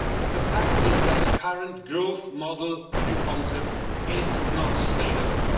The fact is that the current growth model and concept is not sustainable.